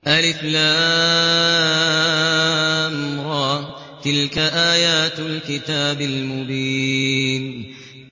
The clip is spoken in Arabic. الر ۚ تِلْكَ آيَاتُ الْكِتَابِ الْمُبِينِ